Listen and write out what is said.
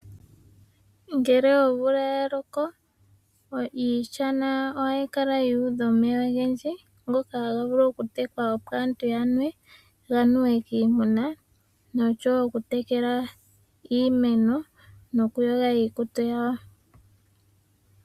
Ngele omvula ya loko iishana ohayi kala ya udha omeya ogendji taga vulu oku tekwa opo aantu ya nwe, ganuwe kiimuna nokutekela iimeno nokuyoga iikutu yawo.